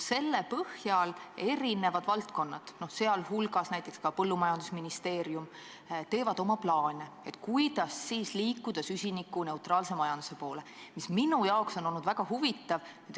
Selle põhjal tehakse eri valdkondades, sh näiteks põllumajandusministeeriumis oma plaane, kuidas liikuda süsinikuneutraalse majanduse poole, mis minu jaoks on olnud väga huvitav.